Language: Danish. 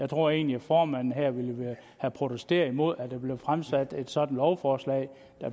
tror egentlig at formanden her ville have protesteret mod at der blev fremsat et sådant lovforslag